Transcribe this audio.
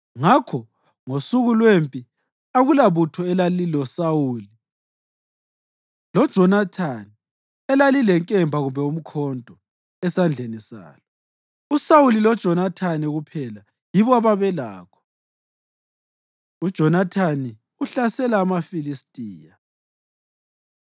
Ngakho ngosuku lwempi akulabutho elaliloSawuli loJonathani elalilenkemba kumbe umkhonto esandleni salo; uSawuli loJonathani kuphela yibo ababelakho. UJonathani Uhlasela AmaFilistiya